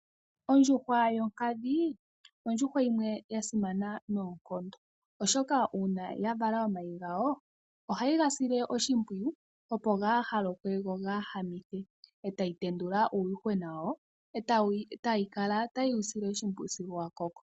Ondjuhwa yo nkadhi, ondjuhwa yimwe ya simana noonkondo oshoka uuna ya vala omayi gayo ohayi ga sile oshimpwiyu opo kaga lokwe go kaga kanithwe etayi tendula uuyuhwena yawo etayi kala tayi wu sile oshimpwiyu sigo wa koko.